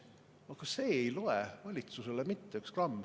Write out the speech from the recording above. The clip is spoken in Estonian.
Aga see ei loe valitsusele mitte üks gramm.